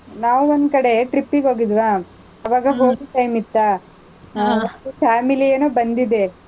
ನಾವ್ ಒಂದ್ ಕಡೆ, trip ಗೆ ಹೋಗಿದ್ವ, ಆವಾಗ ಹೋಳಿ time ಇತ್ತಾ, family ಏನೋ ಬಂದಿದೆ.